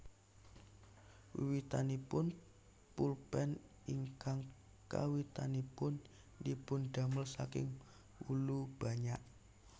Wiwitanipun pulpen ingkang kawitanipun dipun damel saking wulu banyak